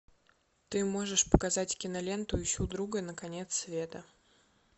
ты можешь показать киноленту ищу друга на конец света